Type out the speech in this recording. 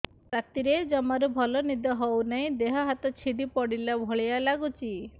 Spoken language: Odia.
ରାତିରେ ଜମାରୁ ଭଲ ନିଦ ହଉନି ଦେହ ହାତ ଛିଡି ପଡିଲା ଭଳିଆ ଲାଗୁଚି